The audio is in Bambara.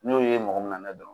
N'i y'o ye mɔgɔ min na